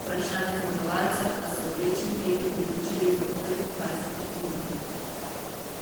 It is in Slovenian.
vprašanje zmagovalca pa so v večji meri odločili že v prvih dvajsetih minutah.